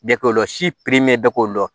Bɛɛ k'o dɔn si pimɛn bɛɛ k'o dɔn